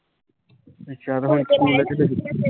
ਅੱਛਾ